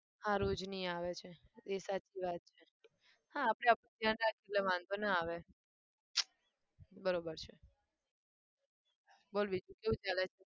હા રોજની આવે છે એ સાચી વાત છે હા આપણે આપણું ધ્યાન રાખીએ એટલે વાંધો ના આવે બરોબર છે બોલ બીજું કેવું ચાલે છે?